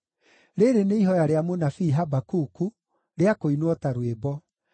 Rĩrĩ nĩ ihooya rĩa mũnabii Habakuku, rĩa kũinwo ta rwĩmbo.